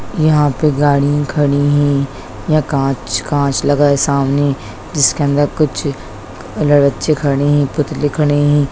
यहाँ पर गाड़ियां खड़ी है यहाँ कांच कांच लगा है सामने जिसके अंदर कुछ बच्चे खड़े है पुतले खड़े है।